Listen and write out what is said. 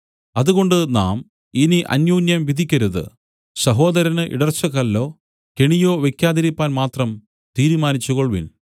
അതുകൊണ്ട് നാം ഇനി അന്യോന്യം വിധിക്കരുത് സഹോദരന് ഇടർച്ചക്കല്ലോ കെണിയോ വെയ്ക്കാതിരിപ്പാൻ മാത്രം തീരുമാനിച്ചുകൊൾവിൻ